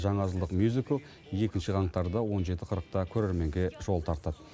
жаңа жылдық мюзикл екінші қаңтарда он жеті қырықта көрерменге жол тартады